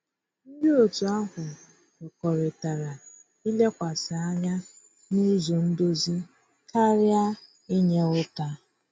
Ndị otu ahụ kwekọrịtara ilekwasị anya n'ụzọ ndozi karịa inye ụta.